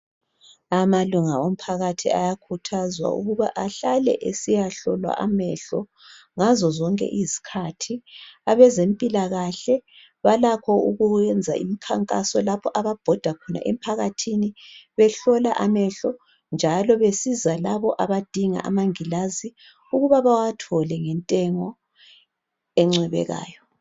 Amalunga omphakathi ayakhuthazwa ukuba ahlale esiyahlolwa amehlo ngazo zonke izikhathi. Abezempilakahle balakho ukwenza imikhankaso lapho ababhoda khona emphakathini behlola amehlo njalo besiza labo abadinga amangilazi ukuba bawathole ngentengo encwebekayo.